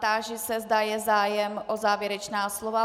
Táži se, zda je zájem o závěrečná slova.